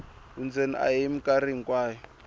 vundzeni a hi mikarhi hinkwayo